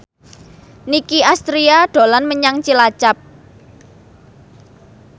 Nicky Astria dolan menyang Cilacap